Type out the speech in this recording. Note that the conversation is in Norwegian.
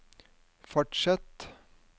fortsett